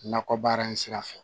Nakɔ baara in sira fɛ